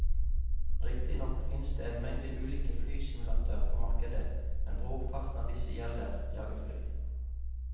Riktignok finnes det en mengde ulike flysimulatorer på markedet, men brorparten av disse gjelder jagerfly.